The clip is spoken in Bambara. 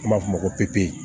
An b'a f'o ma ko pepe